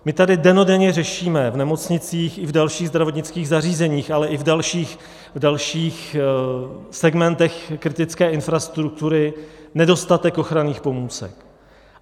My tady dennodenně řešíme v nemocnicích i v dalších zdravotnických zařízeních, ale i v dalších segmentech kritické infrastruktury nedostatek ochranných pomůcek.